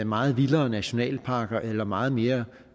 meget vildere nationalparker eller meget mere